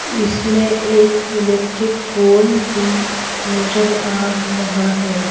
इसमें एक electric pole भी नजर आ रहा है।